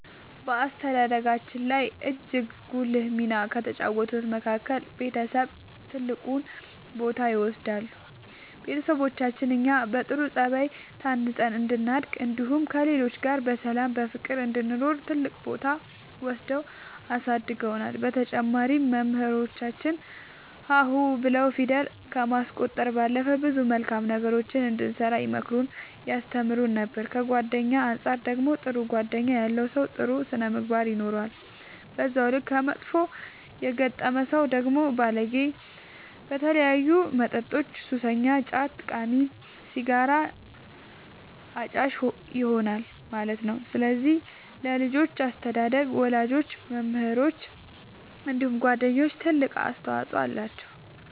በአስተዳደጋችን ላይ እጅግ ጉልህ ሚና ከተጫወቱት መካከል ቤተሰብ ትልቁን ቦታ ይወስዳሉ ቤተሰቦቻችን እኛ በጥሩ ጸባይ ታንጸን እንድናድግ እንዲሁም ከሌሎች ጋር በሰላም በፍቅር እንድንኖር ትልቅ ቦታ ወስደው አሳድገውናል በተጨማሪም መምህራኖቻችን ሀ ሁ ብለው ፊደል ከማስቆጠር ባለፈ ብዙ መልካም ነገሮችን እንድንሰራ ይመክሩን ያስተምሩን ነበር ከጓደኛ አንፃር ደግሞ ጥሩ ጓደኛ ያለው ሰው ጥሩ ስነ ምግባር ይኖረዋል በዛው ልክ ከመጥፎ የገጠመ ሰው ደግሞ ባለጌ በተለያዩ መጠጦች ሱሰኛ ጫት ቃሚ ሲጋራ አጫሽ ይሆናል ማለት ነው ስለዚህ ለልጆች አስተዳደግ ወላጆች መምህራኖች እንዲሁም ጓደኞች ትልቅ አስተዋፅኦ አላቸው።